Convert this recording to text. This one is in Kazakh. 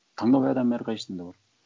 таңдау адамның әрқайсында бар